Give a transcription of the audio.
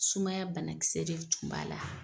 Sumaya banakisɛ de tun b'a la.